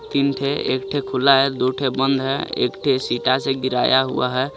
तीनथे एकथे खुला है दूथे बंद है एकथे सीटा से गिराया हुआ है.